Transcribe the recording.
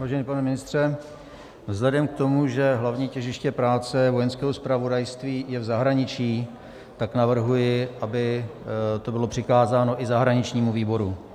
Vážený pane ministře, vzhledem k tomu, že hlavní těžiště práce Vojenského zpravodajství je v zahraničí, tak navrhuji, aby to bylo přikázáno i zahraničnímu výboru.